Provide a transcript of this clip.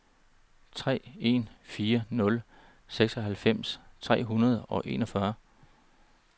tre en fire nul seksoghalvfems tre hundrede og enogfyrre